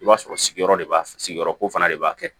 I b'a sɔrɔ sigiyɔrɔ de b'a sigiyɔrɔko fana de b'a kɛ